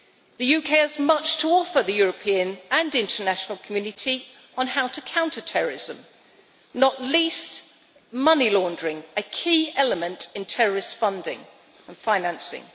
The UK has much to offer the European and international community on how to counter terrorism not least money laundering, a key element in terrorist funding and financing.